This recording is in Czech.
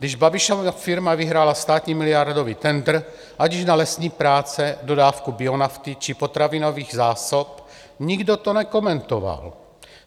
Když Babišova firma vyhrála státní miliardový tendr, ať již na lesní práce, dodávku bionafty či potravinových zásob, nikdo to nekomentoval.